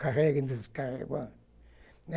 Carrega e descarrega.